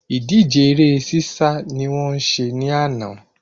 Ìdíje eré sísá ni wọ́n ṣe ní àná